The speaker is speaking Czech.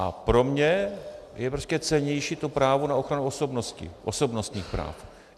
A pro mě je prostě cennější to právo na ochranu osobnosti, osobnostních práv.